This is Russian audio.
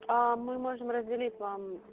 мы можем разделить вам